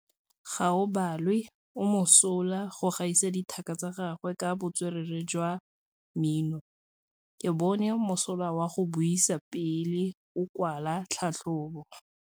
Gaolebalwe o mosola go gaisa dithaka tsa gagwe ka botswerere jwa mmino. Ke bone mosola wa go buisa pele o kwala tlhatlhobô.